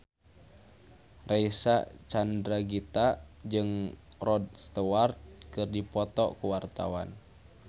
Reysa Chandragitta jeung Rod Stewart keur dipoto ku wartawan